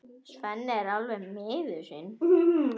Svenni er alveg miður sín.